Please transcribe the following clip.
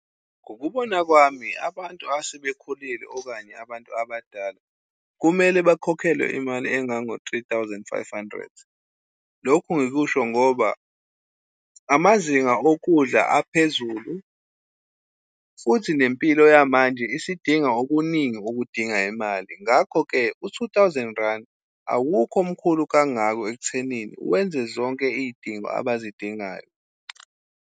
Ngokubona kwami abantu asebekhulile okanye abantu abadala, kumele bakhokhelwe imali engango-three thousand five hundred. Lokhu ngikusho ngoba amazinga okudla aphezulu, futhi nempilo yamanje isidinga okuningi okudinga imali. Ngakho-ke, u-two thousand rand awukho mkhulu kangaka ekuthenini wenze zonke iy'dingo abazidingayo.